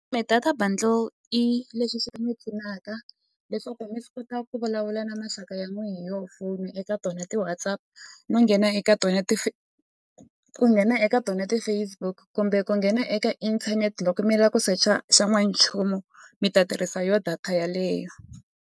Data bundle i leswi swi ta mi pfunaka leswaku mi swi kota ku vulavula na maxaka ya n'wehe yoho foni eka tona ti-Whatsapp no nghena eka tona ku nghena eka tona ti-Facebook kumbe ku nghena eka inthanete loko mi lava ku secha xan'wanchumu mi ta tirhisa yo data yeleyo.